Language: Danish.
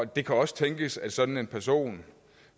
det kan også tænkes at sådan en person